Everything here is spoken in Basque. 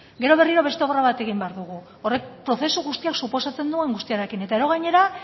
gero berriro beste obra bat egin behar dugu horrek prozesu guztiak suposatzen duen guztiarekin eta gero gainera